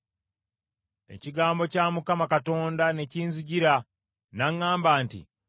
Ekigambo kya Mukama Katonda ne kinzijira, n’aŋŋamba nti,